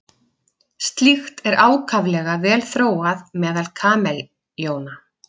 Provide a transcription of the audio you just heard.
Slíkt er ákaflega vel þróað meðal kameljóna.